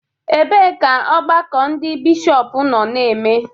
Ebee ka ọgbakọ ndị Bishọp nọ na-eme?